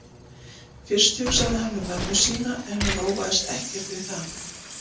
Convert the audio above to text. Fyrst hugsaði hann um mömmu sína en hann róaðist ekkert við það.